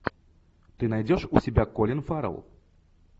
ты найдешь у себя колин фаррелл